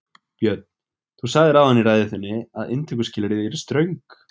Björn: Þú sagðir áðan í ræðu þinni að inntökuskilyrði yrðu ströng?